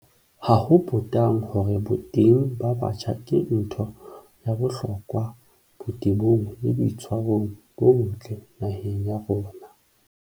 Ha ho potang hore boteng ba batjha ke ntho ya bohlokwa botebong le boitshwarong bo botle naheng ya rona.